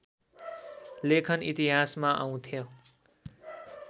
लेखन इतिहासमा आउँथ्यो